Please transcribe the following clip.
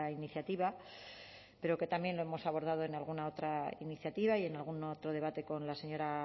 iniciativa pero que también lo hemos abordado en alguna otra iniciativa y en algún otro debate con la señora